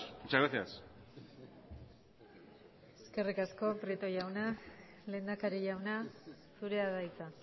muchas gracias eskerrik asko prieto jauna lehendakari jauna zurea da hitza